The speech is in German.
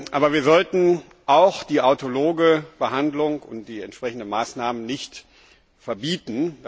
Aber wir sollten auch die autologe Behandlung und die entsprechenden Maßnahmen nicht verbieten.